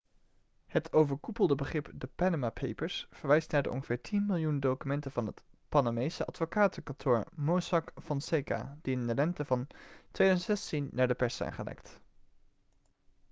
het overkoepelde begrip de panama papers' verwijst naar de ongeveer tien miljoen documenten van het panamese advocatenkantoor mossack fonseca die in de lente van 2016 naar de pers zijn gelekt